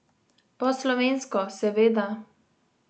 Po slovensko, seveda.